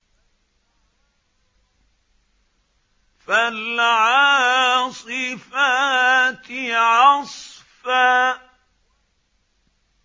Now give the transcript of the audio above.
فَالْعَاصِفَاتِ عَصْفًا